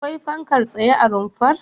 Akwai fankar tsaye a rumfar?